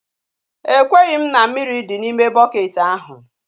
Ekweghị m na mmiri dị n'ime bukeeti ahu